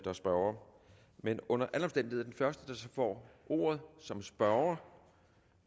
er spørgere men under alle er den første der får ordet som spørger